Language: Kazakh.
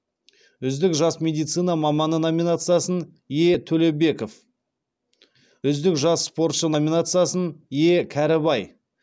үздік жас медицина маманы номинациясын е төлебеков үздік жас спортшы номинациясын е кәрібай